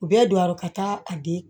U bɛɛ don a yɔrɔ ka taa a di